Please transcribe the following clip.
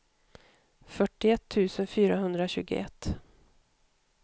fyrtioett tusen fyrahundratjugoett